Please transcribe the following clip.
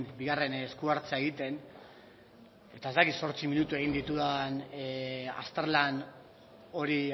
bigarren esku hartzea egiten eta ez dakit zortzi minutu egin ditudan azterlan hori